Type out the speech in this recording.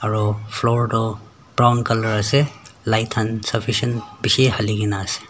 aro floor toh brown colour ase light han sufficient bishi hali kaena ase.